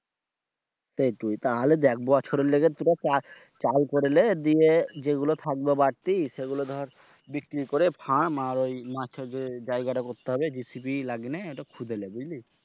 সেইট তাহলে দেখ বছরের লাইগে তুরা চাউল করলে দিয়ে যে গুলা থাকবে বারতি সেগুলা দর বিক্রি করে ফার্ম আর ঐ মাছের যে জায়গাটা করতে হবে। GCP সেখানে খুদে লে বুঝলি?